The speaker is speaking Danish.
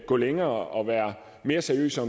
gå længere og være mere seriøse